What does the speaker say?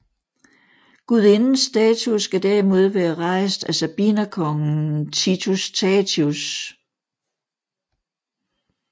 Gudindens statue skal derimod være rejst af sabinerkongen Titus Tatius